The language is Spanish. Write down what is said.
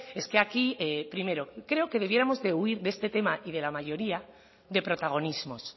es que aquí primero creo que debiéramos de huir de este tema y de la mayoría de protagonismos